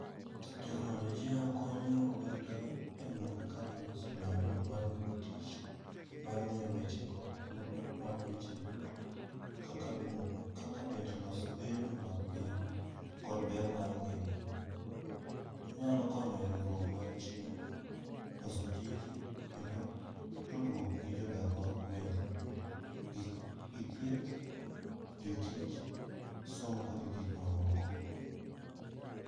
Teknolojia konyo oganda e gwenge kaka loso nyalo mar yudo tich, mar ng'eyo weche kod thuolo mag weche yuto. Kaka bedo kaka bende loso gedo mag piny, kod ber mar ngima. Onyalo konyo e riwruok mar chiro, loso tije kend tudruok gi jodak mag gwenge. Gi thieth, jotich, somo kod gik ma moko.